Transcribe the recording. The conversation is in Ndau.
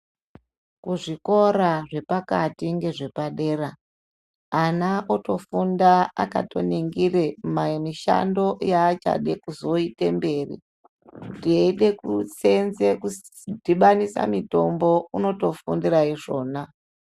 Kuzvikora zvepakati nezvepadera vana vofunda vakaningira mishando yavachazoda kuita mberi kuti eida kusenza kudhubanisa mitombo unotofundira izvona.